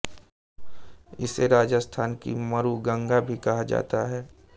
इसे राजस्थान की मरूगंगा भी कहा जाता है